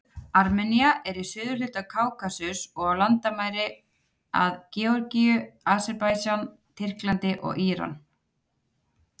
Armenía er í suðurhluta Kákasus og á landamæri að Georgíu, Aserbaídsjan, Tyrklandi og Íran.